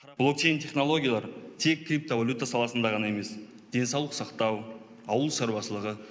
блокчейн технологиялары тек криптовалюта саласында ғана емес денсаулық сақтау ауыл шаруашылығы